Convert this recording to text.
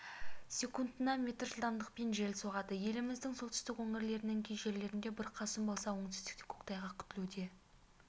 секундына метр жылдамдықпен жел соғады еліміздің солтүстік өңірлерінің кей жерлерінде бұрқасын болса оңтүстікте көктайғақ күтіледі